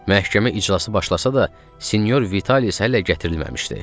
Məhkəmə iclası başlasa da, Sinyor Vitalis hələ gətirilməmişdi.